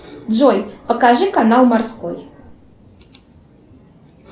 джой покажи канал морской